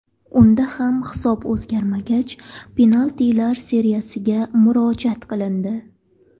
Unda ham hisob o‘zgarmagach penaltilar seriyasiga murojaat qilindi.